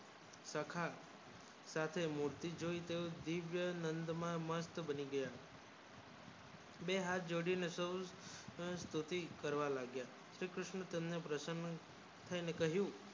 સખા સાથે મૂર્તિ જોય અને તેઓ દિવ્ય નંદ માં મસ્ત બની ગયા બે હાથ જોડી ને સો સરસ્વતી કરવા લાગ્યા શ્રી કૃષ્ણ તેમને પ્રસન્ન થઈ કહ્યું